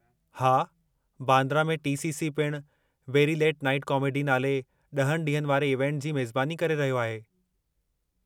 हा, बांद्रा में T. C. C. पिणु 'वेरी लेट नाइट कॉमेडी' नाले ॾहनि ॾींहनि वारे इवेंट जी मेज़बानी करे रहियो आहे।